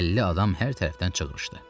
50 adam hər tərəfdən çığırışdı.